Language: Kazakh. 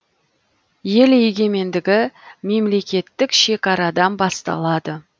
ел егемендігі мемлекеттік шекарадан басталады